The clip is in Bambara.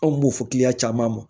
Anw b'o fɔ caman mɔ